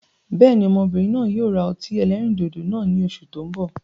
Bẹ́ẹ̀ni, Ọmọbìnrin náà yíi ó ra ọtí ẹlẹ́rìndòdò náà ni Oṣù tó ń bọ̀.